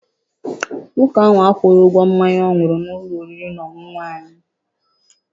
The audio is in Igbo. Nwoke a akwụghị ụgwọ mmanya ọ ṅụrụ n'ụlọ oriri na ọṅụṅụ anyị.